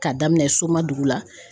K'a daminɛn Somadugu la